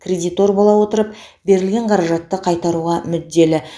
кредитор бола отырып берілген қаражатты қайтаруға мүдделі